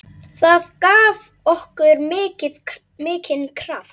Það gaf okkur mikinn kraft.